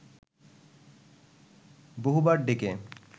বহুবার ডেকে